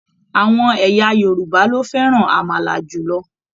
Àwọn ẹ̀yà Yorùbá lo fẹràn amala jùlọ.